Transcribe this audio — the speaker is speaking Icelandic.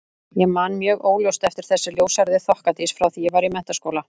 Ég man mjög óljóst eftir þessari ljóshærðu þokkadís frá því ég var í menntaskóla.